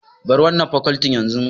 Bar wannan fakoltin yanzu!